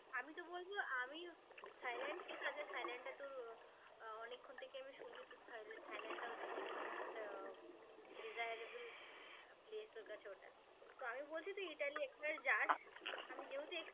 আমি থাইল্যান্ড ঠিক আছে থাইল্যান্ডটা তোর আহ অনেকক্ষণ থেকে আমি শুনছি তুই থাইল্যা~ থাইল্যান্ডটা হচ্ছে কি most আহ desirable place তোর কাছে ওটা. তো আমি বলছি তুই ইতালি একবার যাস আমি যেহেতু ex~